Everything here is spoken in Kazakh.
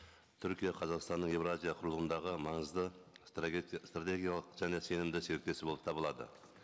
түркия қазақстанның еуразия құрылымдағы маңызды стратегиялық және сенімді серіктесі болып табылады